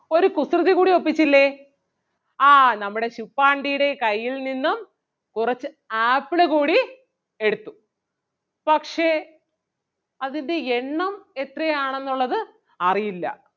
ഒരു കുസൃതി കൂടി ഒപ്പിച്ചില്ലേ ആഹ് നമ്മുടെ ശുപ്പാണ്ടിയുടെ കയ്യിൽ നിന്നും കുറച്ച് ആപ്പിള് കൂടി എടുത്തു പക്ഷേ അതിൻ്റെ എണ്ണം എത്രയാണെന്നൊള്ളത് അറിയില്ല.